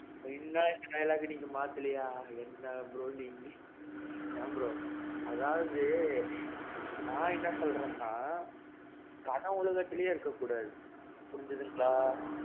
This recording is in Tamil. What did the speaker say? இன்னும் அந்த dialogue நீங்க மாத்தலேயா? என்னா bro நீங்க. ஏன் bro? அதாவது. நான் என்ன சொல்றேன்னா, கனவுலகத்திலேயே இருக்க கூடாது. புரிஞ்சதுங்களா.